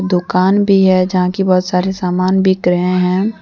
दोकान भी है जहां की बहुत सारे सामान बिक रहे हैं।